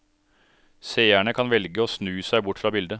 Seerne kan velge å snu seg bort fra bildet.